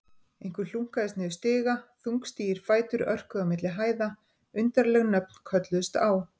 Einhver hlunkaðist niður stiga, þungstígir fætur örkuðu á milli hæða, undarleg nöfn kölluðust á.